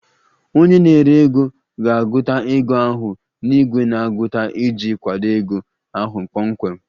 Onye na-ere ego ga-agụta ego ahụ na igwe na-agụta iji kwado ego ahụ kpọmkwem